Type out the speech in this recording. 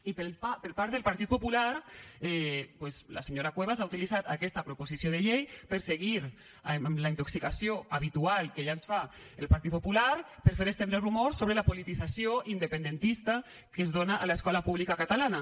i per part del partit popular doncs la senyora cuevas ha utilitzat aquesta proposició de llei per seguir amb la intoxicació habitual que ja ens fa el partit popular per fer estendre rumors sobre la politització independentista que es dona a l’escola pública catalana